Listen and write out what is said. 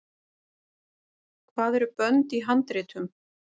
hvað eru bönd í handritum